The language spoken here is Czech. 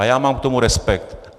A já mám k tomu respekt.